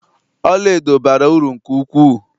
Ọlaedo bara uru nke ukwuu